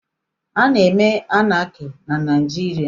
A na-eme Anaki na Naijiria?